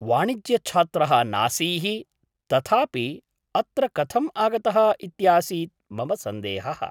वाणिज्यछात्रः नासीः, तथापि अत्र कथम् आगतः इत्यासीत् मम सन्देहः।